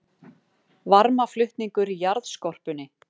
Varmaflutningur í jarðskorpunni